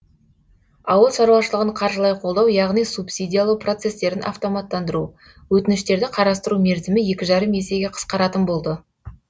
ауыл шаруашылығын қаржылай қолдау яғни субсидиялау процестерін автоматтандыру өтініштерді қарастыру мерзімі екі жарым есеге қысқаратын болды